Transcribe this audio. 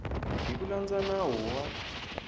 hi ku landza nawu wa